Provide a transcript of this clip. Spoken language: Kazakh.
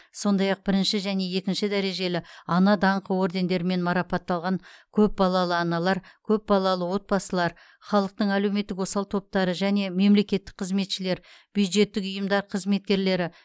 сондай ақ бірінші және екінші дәрежелі ана даңқы ордендерімен марапатталған көпбалалы аналар көпбалалы отбасылар халықтың әлеуметтік осал топтары және мемлекеттік қызметшілер бюджеттік ұйымдар қызметкерлері